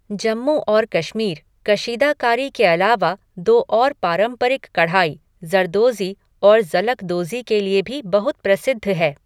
जम्मू और कश्मीर कशीदाकारी के अलावा दो और पारम्परिक कढ़ाई, ज़रदोज़ी और ज़लकदोज़ी के लिए भी बहुत प्रसिद्ध है।